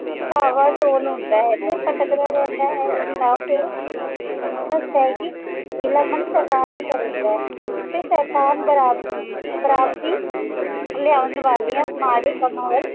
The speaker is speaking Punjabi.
ਡਾਵਾਡੋਲ ਹੁੰਦਾ ਹੈ ਤੇ ਭਟਕਦਾ ਰਹਿੰਦਾ ਹੈ ਤਾਕਿ ਸੱਚ ਹੈ ਕੇ ਵੇਹਲਾ ਮਨ ਸ਼ੈਤਾਨ ਦਾ ਘਰ ਹੁੰਦਾ ਹੈ ਤੇ ਸ਼ੈਤਾਨ ਬ੍ਰਾ ਬਰਾਬਦੀ ਲਿਆਉਣ ਵਾਲਿਆਂ ਮਾੜੇ ਕੰਮਾਂ ਵੱਲ